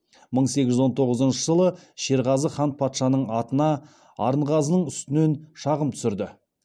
мың сегіз жүз он тоғызыншы жылы шерғазы хан патшаның атына арынғазының үстінен шағым түсірді